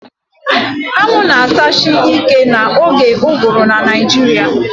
Anwụ na-achasi ike n'oge ụgụrụ na Naịjirịa